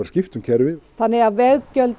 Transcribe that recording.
skipta um kerfi þannig að veggjöld